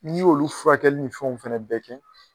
N'i y' olu furakɛli ni fɛnw fɛnɛ bɛɛ kɛ.